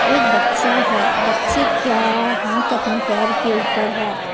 एक बच्चा है बच्चे क्या हाथ अपने पैर के ऊपर है।